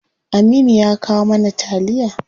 Aminu ya kawo mana taliya.